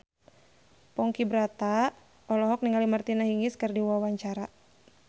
Ponky Brata olohok ningali Martina Hingis keur diwawancara